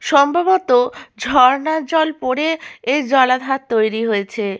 সম্ভবত ঝর্ণার জল পরে এই জলাধার তৈরী হয়েছে।